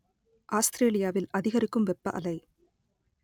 ஆஸ்திரேலியாவில் அதிகரிக்கும் வெப்ப அலை